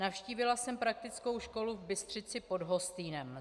Navštívila jsem praktickou školu v Bystřici pod Hostýnem.